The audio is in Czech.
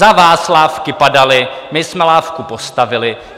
Za vás lávky padaly, my jsme lávku postavili.